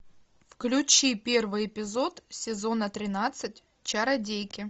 включи первый эпизод сезона тринадцать чародейки